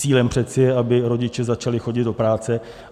Cílem přece je, aby rodiče začali chodit do práce.